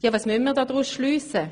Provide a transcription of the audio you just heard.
Was müssen wir daraus schliessen?